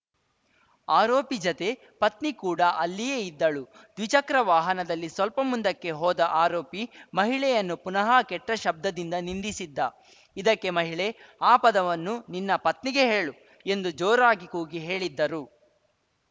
ಆರೋಪಿ ಜತೆ ಪತ್ನಿ ಕೂಡ ಅಲ್ಲಿಯೇ ಇದ್ದಳು ದ್ವಿಚಕ್ರ ವಾಹನದಲ್ಲಿ ಸ್ವಲ್ಪ ಮುಂದಕ್ಕೆ ಹೋದ ಆರೋಪಿ ಮಹಿಳೆಯನ್ನು ಪುನಃ ಕೆಟ್ಟಶಬ್ದದಿಂದ ನಿಂದಿಸಿದ್ದ ಇದಕ್ಕೆ ಮಹಿಳೆ ಆ ಪದವನ್ನು ನಿನ್ನ ಪತ್ನಿಗೆ ಹೇಳು ಎಂದು ಜೋರಾಗಿ ಕೂಗಿ ಹೇಳಿದ್ದರು